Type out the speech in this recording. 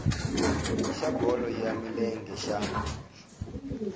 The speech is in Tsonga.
xa bolo ya milenge xa